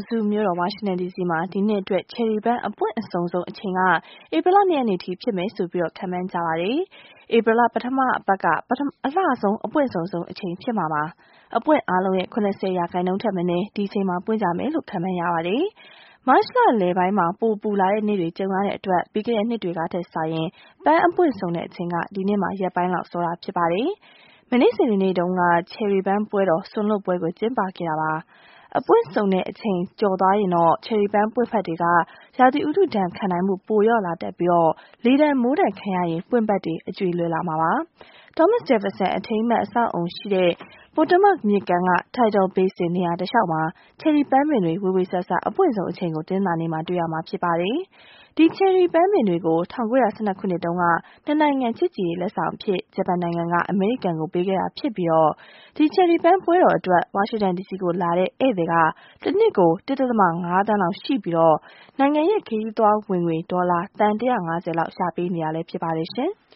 စု မြို့တော် ဝါရှင်တန်ဒီစီမှာ ဒီနှစ်အတွက် ချယ်ရီပန်းအပွင့်အစုံဆုံးအချိန်က ဧပြီလ ၂ ရက်နေ့ဖြစ်မယ်လို့ ခန့်မှန်းကြပါတယ်။ ဧပြီလ ပထမအပတ်က အလှဆုံး အပွင့်အစုံဆုံးအချိန် ဖြစ်မှာပါ။ အပွင့်အားလုံးရဲ့ ၇၀ ရာခိုင်နှုန်းထက်မနည်း ဒီအချိန်မှာ ပွင့်ကြမယ်လို့ ခန့်မှန်းရပါတယ်။ မတ်လလယ်ပိုင်းမှာ ပိုပူလာတဲ့နေ့တွေ ကြုံခဲ့ရတဲ့အတွက် ပြီးခဲ့တဲ့ နှစ်တွေကထက်စာရင် ပန်းအပွင့်စုံတဲ့အချိန်က ဒီနှစ်မှာ ရက်ပိုင်းလောက် စောတာ ဖြစ်ပါတယ်။ မနေ့ စနေနေ့တုန်းက ချယ်ရီပန်းပွဲတော် စွန်လွှတ်ပွဲကို ကျင်းပခဲ့ပါတယ်။ အပွင့်စုံတဲ့အချိန် ကျော်သွားရင်တော့ ချယ်ရီပန်းပွင့်ဖတ်တွေရဲ့ ရာသီဥတုဒဏ်ခံနိုင်မှု ပိုလျော့လာတတ်ပြီး လေဒဏ် မိုးဒဏ်ခံရရင် ပွင့်ဖတ်တွေ အကြွေ လွယ်လာပါတယ်။ Thomas Jefferson အထိမ်းအမှတ် အဆောက်အအုံနားရှိရာ Potomac မြစ်ကမ်းက Tidal Basin နေရာတလျှောက် ချယ်ရီပန်းပင်တွေ ဝေေ၀ဆာဆာ အပွင့်ဆုံးအချိန်ကို တနင်္လာနေ့မှာ တွေ့ရမှာ ဖြစ်ပါတယ်။ ဒီချယ်ရီပင်တွေကို ၁၉၁၂ ခုနှစ်တုန်းက ၂ နိုင်ငံ ချစ်ကြည်ရေးလက်ဆောင်အဖြစ် ဂျပန်နိုင်ငံက အမေရိကန်ကို ပေးခဲ့တာ ဖြစ်ပြီး ဒီချယ်ရီပန်းပွဲတော်အတွက် ဝါရှင်တန်ဒီစီကို လာတဲ့ ဧည့်သည် တနှစ်ကို ၁.၅ သန်းလောက် ရှိပြီး နိုင်ငံရဲ့ ခရီးသွားဝင်ငွေ ဒေါ်လာ သန်း ၁၅၀ လောက် ရှာပေးနေတာလည်း ဖြစ်ပါတယ်။